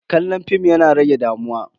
Kallon fim yana rage damuwa.